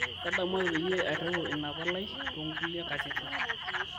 ntadamuaki peyie airiwaa ina palai too nkulie katitin